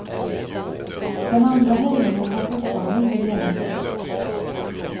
Den andra höjningen har fortfarande inte genomförts.